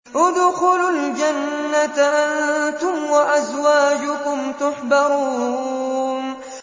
ادْخُلُوا الْجَنَّةَ أَنتُمْ وَأَزْوَاجُكُمْ تُحْبَرُونَ